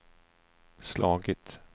slagit